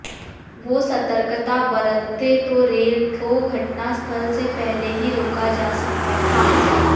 वो सतर्कता बरतते तो रेल को घटना स्थल से पहले ही रोका जा सकता था